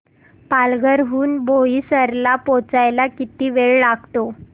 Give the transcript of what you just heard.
पालघर हून बोईसर ला पोहचायला किती वेळ लागतो